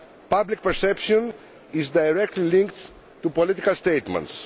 Public perception is directly linked to political statements.